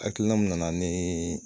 Hakilina min nana ni